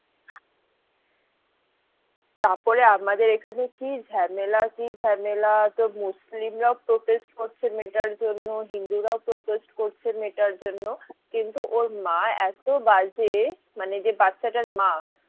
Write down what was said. তারপরে আমাদের এখানে কি ঝামেলা কি ঝামেলা তোর মুসলিমরা protest করছে মেয়েটার জন্যে হিন্দুরাও protest করছে মেয়েটার জন্য কিন্তু ওর মা এত বাজে মানে যে বাচ্চাটার মা